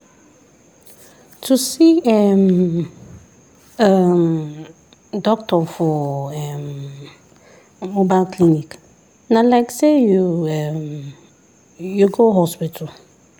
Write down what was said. to see um um doctor for um mobile clinic na like say um you go hospital.